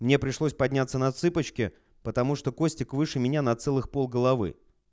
мне пришлось подняться на цыпочки потому что костик выше меня на целых пол головы